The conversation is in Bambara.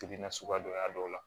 Kili nasuguya dɔ y'a dɔw la